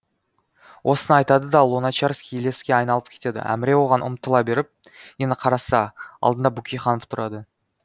осыны айтады да луначарский елеске айналып кетеді әміре оған ұмтыла беріп енді қараса алдында бөкейханов тұрады